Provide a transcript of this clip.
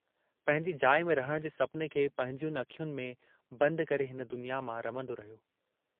पंहिंजी जाइ में रहण जे सपने खे पंहिंजयुनि अखियुनि में बंद करे हिन दुनिया मां रमन्दो रहियो।